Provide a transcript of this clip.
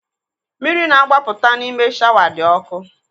Mmiri na-agbapụta n'ime shawa dị ọkụ.